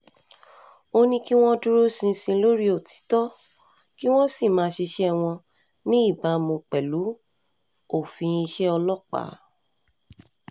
ó ní kí wọ́n dúró ṣinṣin lórí òtítọ́ um kí wọ́n sì máa ṣiṣẹ́ wọn um ní ìbámu pẹ̀lú òfin iṣẹ́ ọlọ́pàá